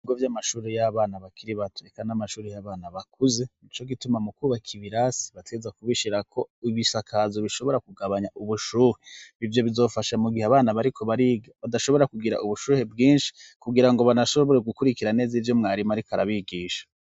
Ibigo vy'amashure y'abana bakiri bato eka n'amashure y'abana bakuze, nico gituma mu kwubaka ibirasi bategerezwa kubishirako ibisakazo bishobora kugabanya ubushuhe, ivyo bizofasha mu gihe abana bariko badashobora kugira ubushuhe bwinshi kugira ngo banashobora gukurikira neza ivyo mwarimu ariko arabigisha.